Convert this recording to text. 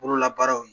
Bololabaaraw